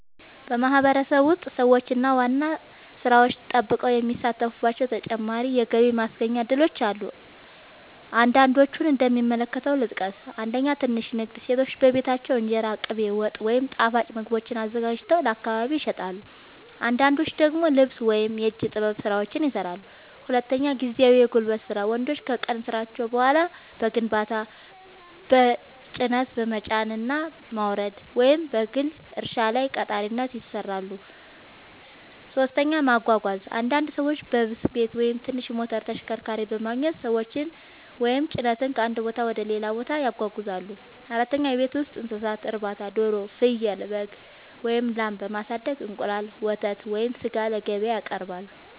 በማህበረሰቤ ውስጥ ሰዎች ዋና ሥራቸውን ጠብቀው የሚሳተፉባቸው ተጨማሪ የገቢ ማስገኛ እድሎች አሉ። አንዳንዶቹን እንደሚከተለው ልጠቅስ፦ 1. ትንሽ ንግድ – ሴቶች በቤታቸው እንጀራ፣ ቅቤ፣ ወጥ ወይም ጣፋጭ ምግቦችን አዘጋጅተው ለአካባቢ ይሸጣሉ። አንዳንዶች ደግሞ ልብስ ወይም የእጅ ጥበብ ሥራዎችን ይሠራሉ። 2. ጊዜያዊ የጉልበት ሥራ – ወንዶች ከቀን ሥራቸው በኋላ በግንባታ፣ በጭነት መጫንና ማውረድ፣ ወይም በግል እርሻ ላይ ቀጣሪነት ይሠራሉ። 3. ማጓጓዝ – አንዳንድ ሰዎች ብስክሌት ወይም ትንሽ ሞተር ተሽከርካሪ በማግኘት ሰዎችን ወይም ጭነት ከአንድ ቦታ ወደ ሌላ ያጓጉዛሉ። 4. የቤት ውስጥ እንስሳት እርባታ – ዶሮ፣ ፍየል፣ በግ ወይም ላም በማሳደግ እንቁላል፣ ወተት ወይም ሥጋ ለገበያ ያቀርባሉ።